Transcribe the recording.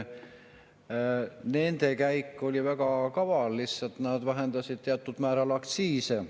Nende käik oli väga kaval: nad lihtsalt vähendasid teatud määral aktsiise.